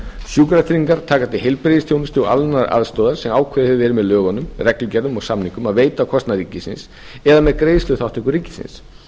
sjúkratryggingar taka til heilbrigðisþjónustu og annarrar aðstoðar sem ákveðið hefur verið með lögunum reglugerðum eða samningum að veita á kostnað ríkisins eða með greiðsluþátttöku ríkisins